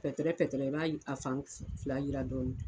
pɛtɛrɛ pɛtɛrɛ i b'a a fan fila yira dɔrɔn.